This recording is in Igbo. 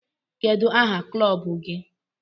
Kedu aha kụlọbụ gi?